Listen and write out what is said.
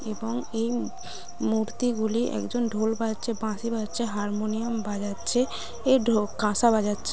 এবং এই মু মূর্তি গুলি একজন ঢোল বাজছে বাঁশি বাজছে হারমোনিয়াম বাজাচ্ছে এ ঢো কাঁসা বাজছে।